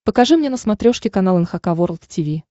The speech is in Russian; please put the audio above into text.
покажи мне на смотрешке канал эн эйч кей волд ти ви